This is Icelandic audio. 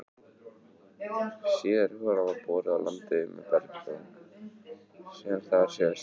Síðari holan var boruð á landi við berggang sem þar sést.